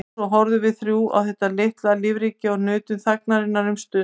Og svo horfðum við þrjú á þetta litla lífríki og nutum þagnarinnar um stund.